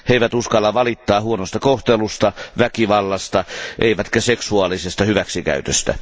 He eivät uskalla valittaa huonosta kohtelusta, väkivallasta eivätkä seksuaalisesta hyväksikäytöstä.